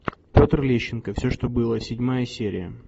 петр лещенко все что было седьмая серия